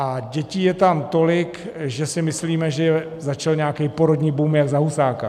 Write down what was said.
A dětí je tam tolik, že si myslíme, že začal nějaký porodní boom jak za Husáka.